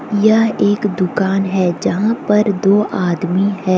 यह एक दुकान है जहां पर दो आदमी हैं।